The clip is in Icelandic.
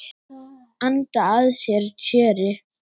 Anda að sér tjöru.